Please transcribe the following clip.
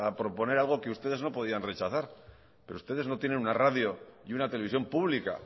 proponer algo que ustedes no podían rechazar pero ustedes no tienen una radio y una televisión pública